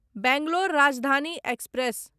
Bangalore Rajdhani express